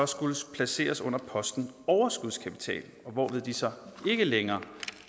skulle placeres under posten overskudskapital hvorved de så ikke længere